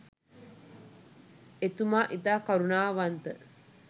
එතුමා ඉතා කරුණාවන්ත